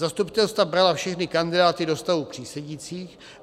Zastupitelstva brala všechny kandidáty do stavu přísedících.